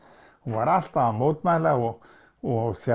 hún var alltaf að mótmæla og og